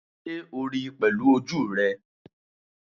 Sé o ríi pèlú ojú rè?